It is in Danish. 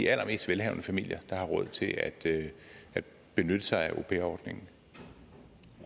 allermest velhavende familier der har råd til at benytte sig af